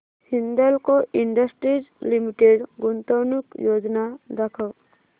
Hindalco industries limited गुंतवणूक योजना दाखव